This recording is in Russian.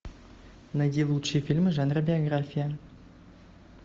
найди лучшие фильмы жанра биография